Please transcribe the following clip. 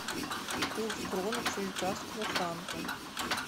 курс кроны к швейцарскому франку